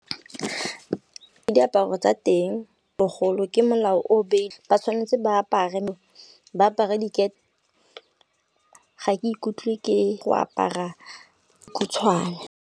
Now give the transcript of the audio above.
Ke diaparo tsa teng bogolo ke molao o beile ba tshwanetse ba apare dikete, ga ke ikutlwe ke go apara khutshwane.